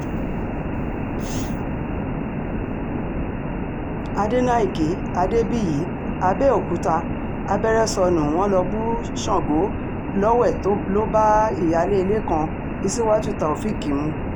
àdèmàkè adébíyí àbẹ̀òkúta abẹ́rẹ́ sọnù wọ́n lọ́ọ́ bu sango lọ́wẹ̀ tó lo bá ìyáálé ilé kan isiwát tàófẹ̀ẹ́k mu